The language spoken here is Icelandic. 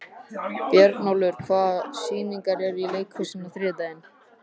Björnólfur, hvaða sýningar eru í leikhúsinu á þriðjudaginn?